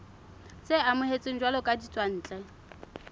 tse amohetsweng jwalo ka ditswantle